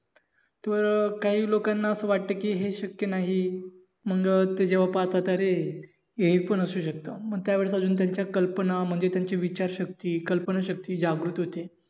तर काही लोकांना असं वाटत कि हे शक्य नाही मंग ते जेव्हा पाहतात अरे हे पण असू शकत. मग त्यावेस अजून त्यांच्या कल्पना म्हणजे त्यांचे विचार शक्ती कल्पना शक्ती जागरूक होते.